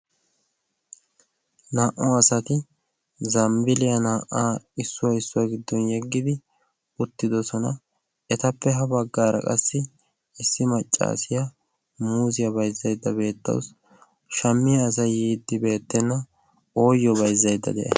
Naa''u asati zambbaliya naa''a issuwa issiuwa giddon yeegidi uttidoosona. issi maccassiya muuzziyaa bayzzaydda beettawus shammiya asay yiide beettena ooyyo bayzzaydda day a?